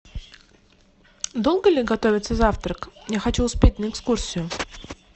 долго ли готовится завтрак я хочу успеть на экскурсию